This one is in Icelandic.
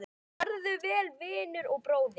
Farðu vel, vinur og bróðir!